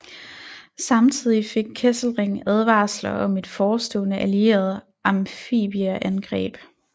Samtidig fik Kesselring advarsler om et forestående allieret amfibieangreb